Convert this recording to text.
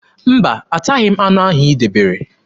Mba, ataghị anụ ahụ i debere.